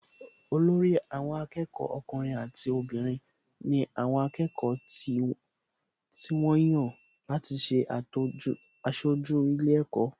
Olórí àwọn akẹ́kọ̀ọ́ ọkùnrin àti obìnrin ni àwọn akẹ́kọ̀ọ́ tí wọ́n yàn láti ṣe aṣojú ilé ẹ̀kọ́